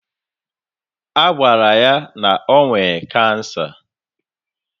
Agwara ya na ọ nwe cancer